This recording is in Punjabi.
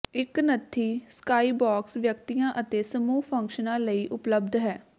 ਇੱਕ ਨੱਥੀ ਸਕਾਈਬੌਕਸ ਵਿਅਕਤੀਆਂ ਅਤੇ ਸਮੂਹ ਫੰਕਸ਼ਨਾਂ ਲਈ ਉਪਲਬਧ ਹੈ